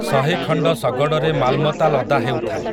ଶହେଖଣ୍ଡ ଶଗଡ଼ରେ ମାଲ୍ମତା ଲଦା ହେଉଥାଏ ।